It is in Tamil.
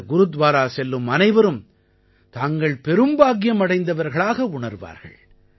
இந்த குருத்வாரா செல்லும் அனைவரும் தாங்கள் பெரும்பாக்கியம் அடைந்தவர்களாக உணர்வார்கள்